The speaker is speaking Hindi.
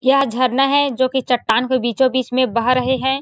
यहाँ झरना है जो की चट्टान के बिचों बीच में बह रहै है।